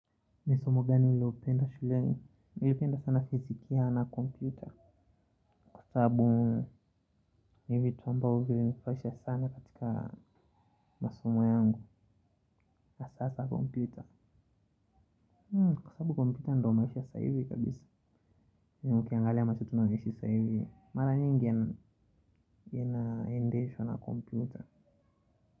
Ni somo gani ulilopenda shuleni? Nilipenda sana fizikia na kompyuta kwa sababu ni vitu ambavyo vilinifurahisha sana katika masomo yangu na hasahasa kompyuta kwa sababu kompyuta ndo maisha ya sasa hivi kabisa na ukiangalia maisha tunayoishi sasa hivi mara nyingi yanaendeshwa na kompyuta.